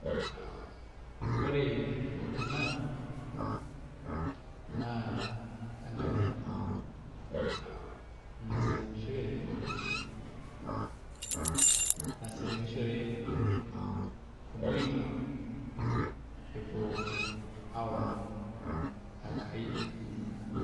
Ore ena naa enkaji naseremishoreki naseremishore irmoindi epuo aomon Enkai enye.